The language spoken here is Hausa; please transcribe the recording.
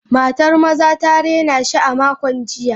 Matar maza ta raina shi a makon jiya.